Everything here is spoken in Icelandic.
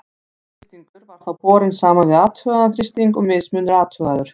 Áætlaður þrýstingur var þá borinn saman við athugaðan þrýsting og mismunur athugaður.